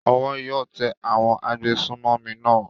Owó yóò tẹ àwọn agbésùnmọ̀mí náà.